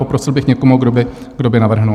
Poprosil bych někoho, kdo by navrhl.